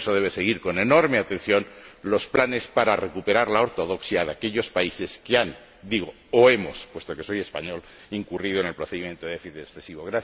Por eso, debe seguir con enorme atención los planes para recuperar la ortodoxia de aquellos países que han o hemos, digo, puesto que soy español incurrido en el procedimiento de déficit excesivo.